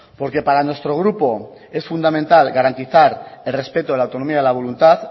porque para nuestro grupo es fundamental garantizar el respeto de la autonomía de la voluntad